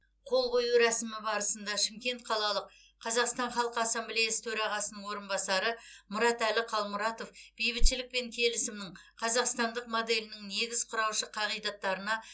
қол қою рәсімі барысында шымкент қалалық қазақстан халқы ассамблеясы төрағасының орынбасары мұратәлі қалмұратов бейбітшілік пен келісімнің қазақстандық моделінің негіз құраушы қағидаттарына